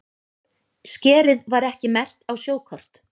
Skerið var ekki merkt á sjókort